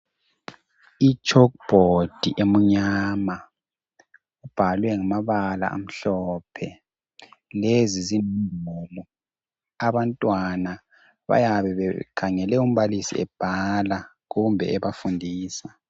Umgwembe omnyama ubhalwe ngamabala amhlophe lezi abantwana bayabe bekhangele umbalisi ebhala kumbe ebafundisa.